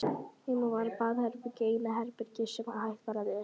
Heima var baðherbergið eina herbergið sem hægt var að læsa.